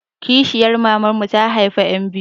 Kishiyar maman mu ta haifa ƴan biyu.